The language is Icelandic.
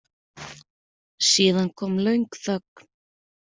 Síðan kom löng þögn.